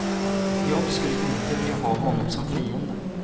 Jag skulle inte vilja ha honom som fiende.